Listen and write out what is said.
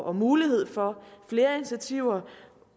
og mulighed for flere initiativer